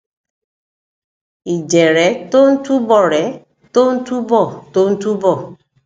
ìjẹrẹ tó ń túbọrẹ tó ń túbọ tó ń túbọ